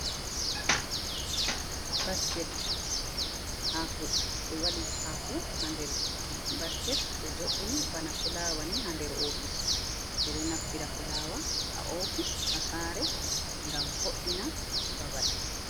Basket hako: ɓe waɗi hako nder basket ɓe jo’ini bana fulaawa ni ha nder ofis ɓeɗo naftira fulaawa ha ofis ha sare ngam vo’ina babal.